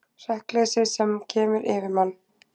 Hrekkleysið sem kemur yfir mann.